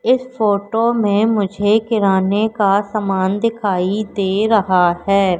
इस फोटो में मुझे किराने का सामान दिखाई दे रहा है।